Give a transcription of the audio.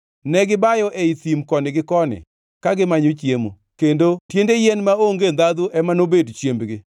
Negibayo ei thim koni gi koni ka gimanyo chiemo, kendo tiende yien maonge ndhandhu ema nobed chiembgi.